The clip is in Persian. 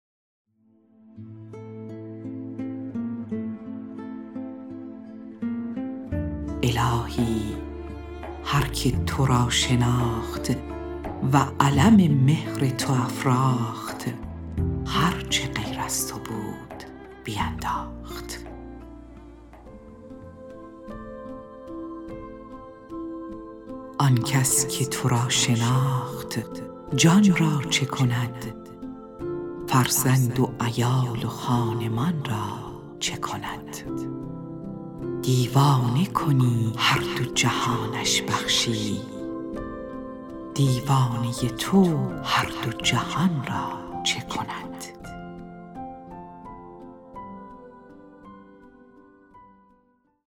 الهی هر که تو را شناخت و علم مهر تو افراخت هر چه غیر از تو بود بینداخت آن کس که تو را شناخت جان را چه کند فرزند و عیال و خانمان را چه کند دیوانه کنی هر دو جهانش بخشی دیوانه تو هر دو جهان را چه کند